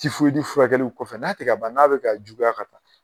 furakɛliw kɔfɛ fɛ n'a tɛ ka ban n'a bɛ ka juguya ka taa.